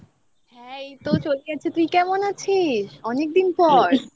হ্যাঁ এই তো চলে যাচ্ছে তুই কেমন আছিস অনেকদিন পর